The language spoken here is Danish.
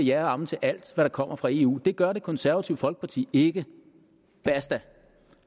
ja og amen til alt der kommer fra eu for det gør det konservative folkeparti ikke basta